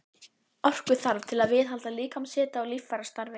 Orku þarf til að viðhalda líkamshita og líffærastarfi.